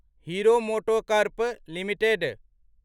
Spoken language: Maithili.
hero MotoCorp limited